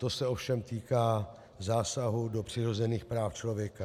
To se ovšem týká zásahu do přirozených práv člověka.